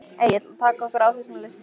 Egill: Að taka okkur af þessum lista?